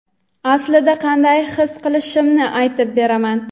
aslida qanday his qilishimni aytib beraman.